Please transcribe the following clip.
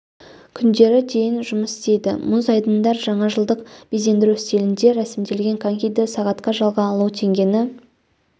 күндері дейін жұмыс істейді мұз айдындар жаңажылдық безендіру стилінде рәсімделген конькиді сағатқа жалға алу теңгені